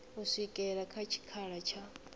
u swikela kha tshikhala tsha